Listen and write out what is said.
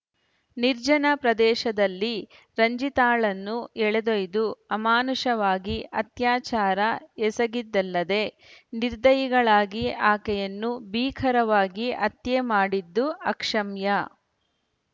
ನಿರ್ಜನ ಪ್ರದೇಶದಲ್ಲಿ ರಂಜಿತಾಳನ್ನು ಎಳೆದೊಯ್ದು ಅಮಾನುಷವಾಗಿ ಅತ್ಯಾಚಾರ ಎಸಗಿದ್ದಲ್ಲದೇ ನಿರ್ದಯಿಗಳಾಗಿ ಆಕೆಯನ್ನು ಭೀಕರವಾಗಿ ಹತ್ಯೆ ಮಾಡಿದ್ದು ಅಕ್ಷಮ್ಯ